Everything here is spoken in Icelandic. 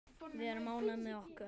Við erum ánægð með okkar.